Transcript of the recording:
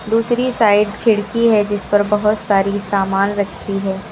दूसरी साइड खिड़की है जिस पर बहुत सारी सामान रखी है।